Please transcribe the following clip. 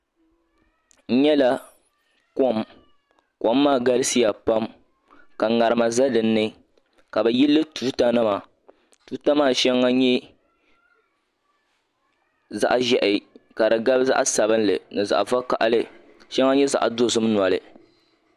N nyala kom kom maa galiya pam ka ŋarima za din ni ka bɛ yili li tuutanima tuuta maa shɛŋa nyɛla zaɣ' ʒiɛhi ka di gabi vakahili ka shɛŋa nyɛ zaɣ' dɔzim noli